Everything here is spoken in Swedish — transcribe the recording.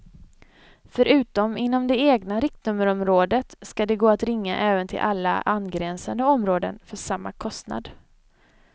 Förutom inom det egna riktnummerområdet ska det gå att ringa även till alla angränsande områden för samma kostnad.